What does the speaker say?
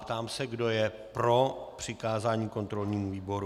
Ptám se, kdo je pro přikázání kontrolnímu výboru.